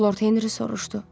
Lord Henri soruşdu.